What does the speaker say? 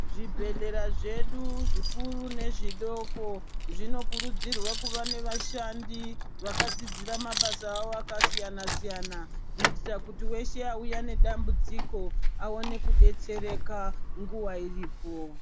Zvibhedhleya zvedu zvikuru nezvidoko zvinokurudzirwa kuva nevashandi vakadzidzira mabasawo akasiyana siyana kuitira kuti weshe wauya nedambudziko awane kudetsereka nguwa iripo.